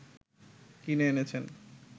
কিনে এনেছেন